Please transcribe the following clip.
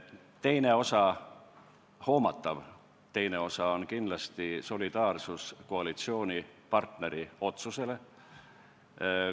Teine osa, hoomatav osa on kindlasti solidaarsus koalitsioonipartneri otsusega.